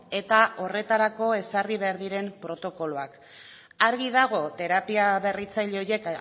eta horretarako ezarri behar diren protokoloak argi dago terapia berritzaile horiek